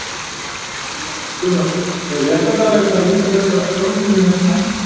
Gunnar Atli Gunnarsson: Er réttlætanlegt að nýta þessa fjármuni með þessum hætti?